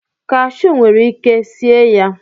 cashu nwere ike sie ya.